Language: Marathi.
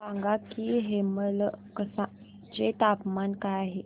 सांगा की हेमलकसा चे तापमान काय आहे